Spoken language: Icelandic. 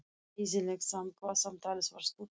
Leiðinlegt samt hvað samtalið var stutt.